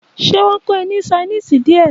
Ṣé wón kó e ní sainísì díè?